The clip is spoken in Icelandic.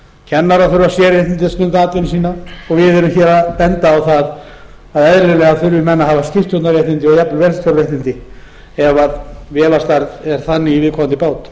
kennarar þurfa sérréttindi að stunda atvinnu sína og við erum að benda á það að eðlilega þurfi menn að hafa skipstjórnarréttindi og jafnvel vélstjóraréttindi ef vélarstærð er þannig í viðkomandi bát